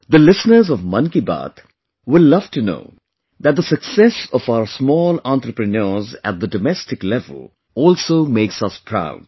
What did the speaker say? the listeners of 'Mann Ki Baat' will love to know that the success of our small entrepreneurs at the domestic level also makes us proud